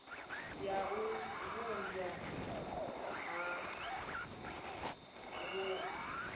ya u vhumbwa ha wua